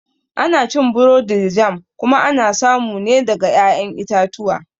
Ana cin burodi da jam kuma ana samu ne daga ƴaƴan itatuwa